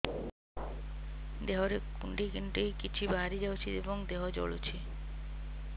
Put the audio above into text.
ଦେହରେ କୁଣ୍ଡେଇ କୁଣ୍ଡେଇ କିଛି ବାହାରି ଯାଉଛି ଏବଂ ଦେହ ଜଳୁଛି